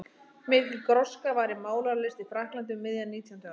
Mikil gróska var í málaralist í Frakklandi um miðja nítjándu öld.